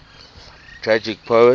tragic poets